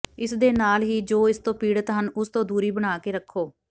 ਇਸ ਦੇ ਨਾਲ ਹੀ ਜੋ ਇਸ ਤੋਂ ਪੀੜਤ ਹਨ ਉਸ ਤੋਂ ਦੂਰੀ ਬਣਾ ਕੇ ਰੱਖੋ